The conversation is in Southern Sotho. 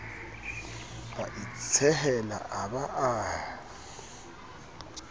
a itshehela a ba a